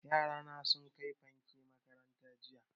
Yara na sun kai fanke makaranta jiya